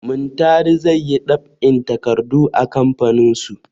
Muntari zai yi ɗab'in takardu a kamfaninsu.